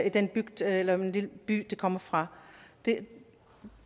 i den bygd eller lille by de kommer fra